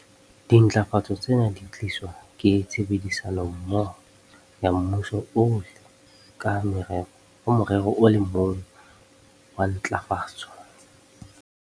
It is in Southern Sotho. Dintlafatso tsena di tliswa ke tshebedisanommoho ya mmuso ohle ka morero o le mong wa ntlafatso.